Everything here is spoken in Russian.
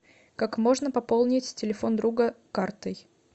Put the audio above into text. как можно пополнить телефон друга картой